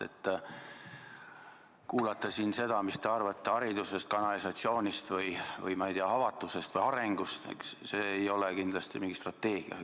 Aga kuulata siin seda, mida te arvate haridusest, kanalisatsioonist või, ma ei tea, avatusest või arengust – see ei ole kindlasti mingi strateegia.